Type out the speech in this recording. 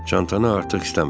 Çantanı artıq istəmirəm.